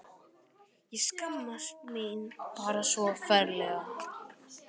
Ég skammaðist mín bara svo ferlega.